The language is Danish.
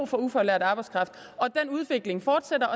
for ufaglært arbejdskraft og den udvikling fortsætter